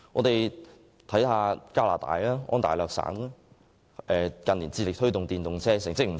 當地近年致力推動使用電動車，成績亦不錯。